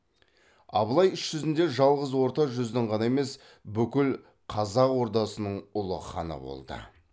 абылай іс жүзінде жалғыз орта жүздің ғана емес бүкіл қазақ ордасының ұлы ханы болды